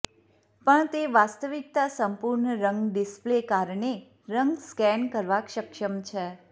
પણ તે વાસ્તવિકતા સંપૂર્ણ રંગ ડિસ્પ્લે કારણે રંગ સ્કેન કરવા સક્ષમ છે